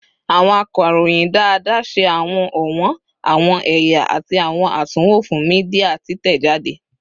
Awọn akọroyin daadaa ṣe awọn ọwọn, awọn ẹya, ati awọn atunwo fun media titẹjade